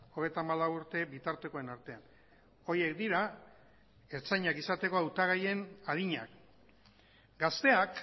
hogeita hamalau urte bitartekoen artean horiek dira ertzainak izateko hautagaien adinak gazteak